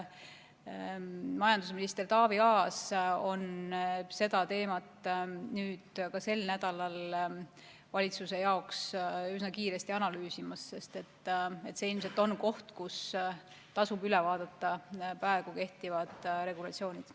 Majandusminister Taavi Aas on seda teemat sel nädalal valitsuse jaoks üsna kiiresti analüüsimas, sest see ilmselt on koht, kus tasub üle vaadata praegu kehtivad regulatsioonid.